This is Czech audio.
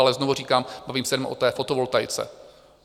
Ale znovu říkám, bavím se jenom o té fotovoltaice.